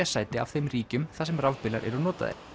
sæti af þeim ríkjum þar sem rafbílar eru notaðir